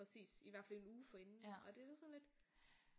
Præcis i hvert fald en uge forinden og det da sådan lidt